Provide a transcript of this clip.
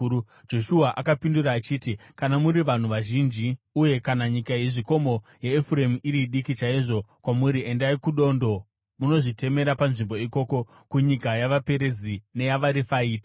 Joshua akapindura achiti, “Kana muri vanhu vazhinji, uye kana nyika yezvikomo yaEfuremu iri diki chaizvo kwamuri, endai kudondo munozvitemera nzvimbo ikoko kunyika yavaPerizi neyavaRefaiti.”